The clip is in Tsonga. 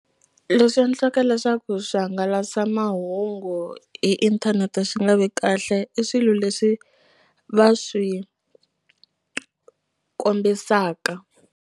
Leswi endlaka leswaku swihangalasamahungu hi inthanete swi nga vi kahle i swilo leswi va swi kombisaka.